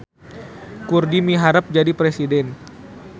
Kurdi miharep jadi presiden